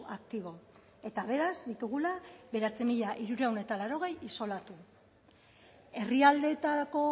aktibo eta beraz ditugula bederatzi mila hirurehun eta laurogei isolatu herrialdeetako